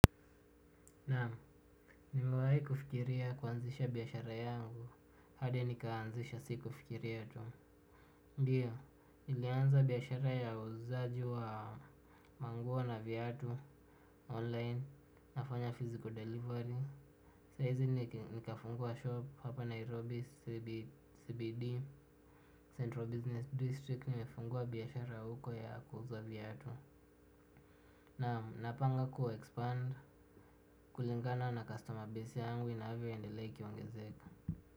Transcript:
Naam nimewahi kufikiria kuanzisha biashara yangu, hadi nikaanzisha si kufikiria tu. Ndio, nilianza biashara ya uuzaji wa manguo na viatu online, nafanya physical delivery. Sahizi nikafungua shop hapa Nairobi CBD, Central Business District, nimefungua biashara huko ya kuuza viatu. Naam napanga ku expand kulingana na customer base yangu inavyo endelea ikiongezeka.